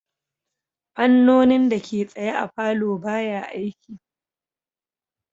Fannonin dake tsaye a palour baya aiki